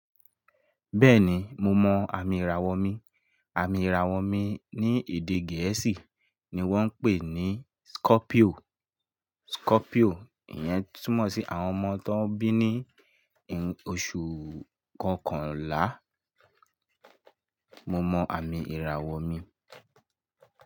Bẹ́ẹ̀ni, mo mọ àmì ìràwọ̀ mi. Àmì ìràwọ̀ mi ní èdè gẹ̀ẹ́sì ni wọ́n ń pè ní Scorpio. Scorpio, ìyẹn túmọ̀ sí àwọn ọmọ tón bí ní oṣù kọkànlá. Mo mọ àmì ìràwọ̀ mi.